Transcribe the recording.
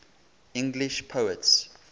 english poets